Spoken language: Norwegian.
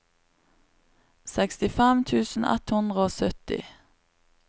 sekstifem tusen ett hundre og sytti